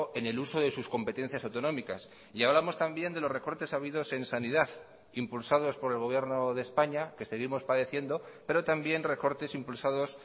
en el uso de sus competencias autonómicas y hablamos también de los recortes habidos en sanidad impulsados por el gobierno de españa que seguimos padeciendo pero también recortes impulsados